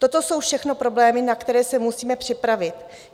Toto jsou všechno problémy, na které se musíme připravit.